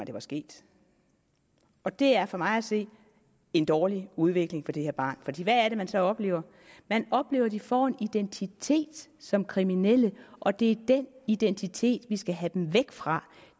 det var sket og det er for mig at se en dårlig udvikling for det her barn hvad er det man så oplever man oplever at de får en identitet som kriminelle og det er den identitet vi skal have dem væk fra